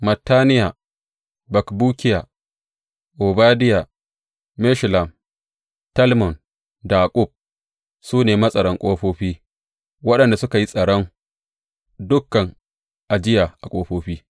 Mattaniya, Bakbukiya, Obadiya, Meshullam, Talmon da Akkub su ne matsaran ƙofofi waɗanda suka yi tsaron ɗaukan ajiya a ƙofofi.